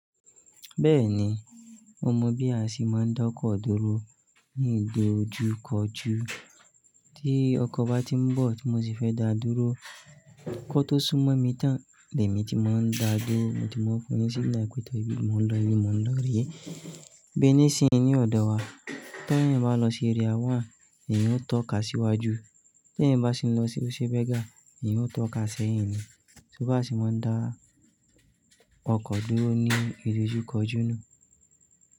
Bẹ́ẹ̀ni, mo mọ bí a ṣe máa ń dọ́kọ̀ dúró ní ìdojúkọjú. Tí ọkọ̀ bá tí ń bọ̀ tí mo sì fẹ́ dá dúró, kó tó sú mọ́ mi tán, lẹ́ mi ti máa ń dáa duró, mo ti máa ń fún un ní signal pé ìbí mo ń lọ ni mo ń lọ rè é. Bi ní sì ń ní ọ̀dọ̀ wa. Tí ẹ̀yàn bá lọ sí Area One, ẹ̀yàn ó tọ́ka síwájú. Tí ẹ̀yàn bá sì ń lọ sí o se berger, ẹ̀yin ó tọ́ka sẹ́yìn ni. So bí a ṣe máa ń dá ọkọ̀ dúró ní ìdojúkọjú ni.